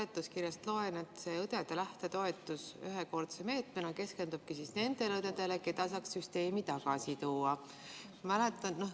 Seletuskirjast loen, et õdede lähtetoetus ühekordse meetmena keskendub nendele õdedele, keda saaks süsteemi tagasi tuua.